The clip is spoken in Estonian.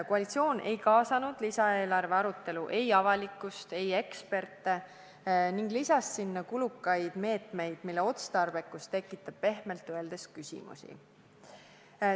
Koalitsioon ei kaasanud lisaeelarve arutellu ei avalikkust ega eksperte ning lisas sinna kulukaid meetmeid, mille otstarbekus tekitab pehmelt öeldes küsimusi.